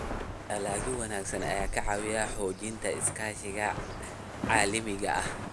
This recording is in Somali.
Dalagyo wanaagsan ayaa ka caawiya xoojinta iskaashiga caalamiga ah.